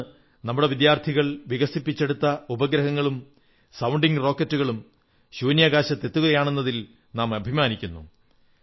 ഇന്ന് നമ്മുടെ വിദ്യാർഥികൾ വികസിപ്പിച്ചെടുത്ത ഉപഗ്രഹങ്ങളും സൌണ്ടിംഗ് റോക്കറ്റുകളും ശൂന്യാകാശത്തെത്തുകയാണെന്നതിൽ നാം അഭിമാനിക്കുന്നു